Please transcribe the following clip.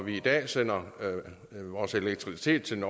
i dag sender vi vores elektricitet til